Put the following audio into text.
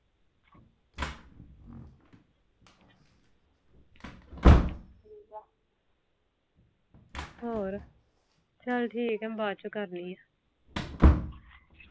ਹੋਰ ਚਾਲ ਠੀਕ ਆ ਮੈਂ ਬਾਦ ਚੋ ਕਰਦੀ ਆ